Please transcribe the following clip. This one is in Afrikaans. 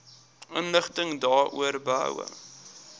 inligting daaroor behoue